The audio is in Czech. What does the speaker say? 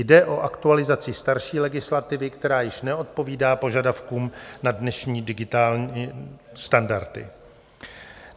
Jde o aktualizaci starší legislativy, která již neodpovídá požadavkům na dnešní digitální standardy.